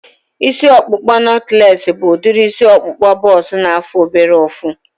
Isi ọkpụkpa nọtlees bụ udiri isi ọkpụkpa bọks na-afụ obere ụfụ